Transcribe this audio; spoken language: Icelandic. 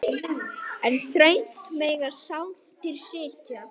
En þröngt mega sáttir sitja.